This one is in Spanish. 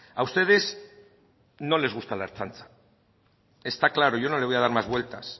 a ustedes no les gusta la ertzaintza está claro yo no le voy a dar más vueltas